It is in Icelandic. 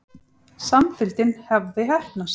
Samfylgdin hafði heppnast.